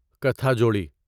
کتھا جوڑی